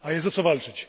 A jest, o co walczyć.